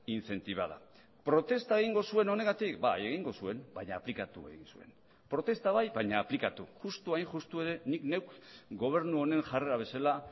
incentivada protesta egingo zuen honegatik bai egingo zuen baina aplikatu egin zuen protesta bai baina aplikatu justu hain justu ere nik neuk gobernu honen jarrera bezala